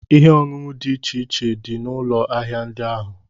Ihe ọṅụṅụ dị iche iche dị n'ụlọ ahịa ndị ahụ.